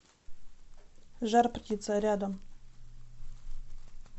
жар птица рядом